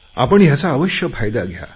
आपण याचा अवश्य फायदा घ्या